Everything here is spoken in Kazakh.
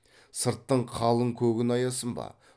сырттың қалың көгін аясын ба